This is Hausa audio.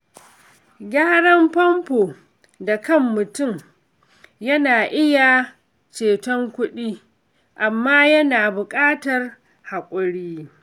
Gyaran famfo da kan mutum na iya ceton kuɗi, amma yana buƙatar haƙuri.